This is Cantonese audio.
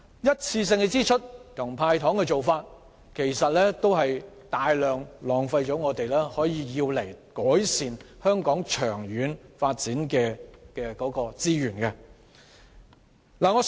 一次性支出和"派糖"的做法，其實會浪費大量可用以改善香港長遠發展的資源。